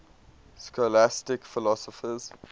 scholastic philosophers